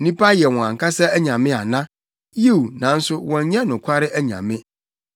Nnipa yɛ wɔn ankasa anyame ana? Yiw, nanso wɔnyɛ nokware anyame!”